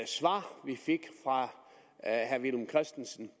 svar vi fik fra herre villum christensen